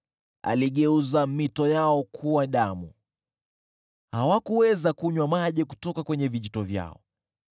Aligeuza mito yao kuwa damu, hawakuweza kunywa maji kutoka vijito vyao.